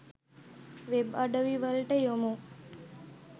web අඩවිවලට යොමු